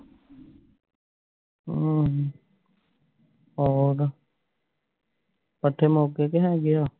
ਅਮ ਹੋਰ ਪੱਠੇ ਮੁੱਕਗੇ ਕਿ ਹੈਗੇ ਆ